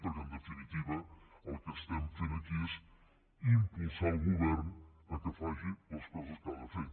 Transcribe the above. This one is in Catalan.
perquè en definitiva el que estem fent aquí és impulsar el govern que faci les coses que ha de fer